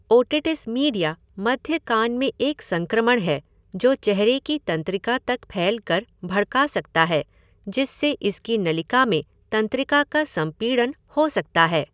Otitis media मध्य कान में एक संक्रमण है जो चेहरे की तंत्रिका तक फैल कर भड़का सकता है जिससे इसकी नलिका में तंत्रिका का संपीड़न हो सकता है।